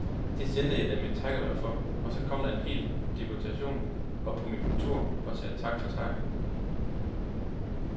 Det sendte jeg dem et takkebrev for, og så kom der en hel deputation op på mit kontor og sagde tak for takken.